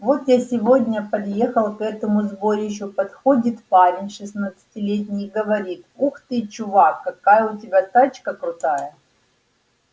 вот я сегодня подъехал к этому сборищу подходит парень шестнадцатилетний и говорит ух ты чувак какая у тебя тачка крутая